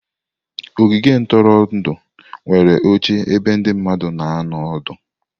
Ogige ntụrụndụ nwere oche ebe ndị mmadụ na anọ ọdụ.